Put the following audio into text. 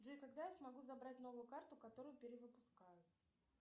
джой когда я смогу забрать новую карту которую перевыпускают